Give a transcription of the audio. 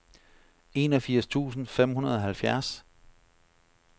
enogfirs tusind fem hundrede og halvfjerds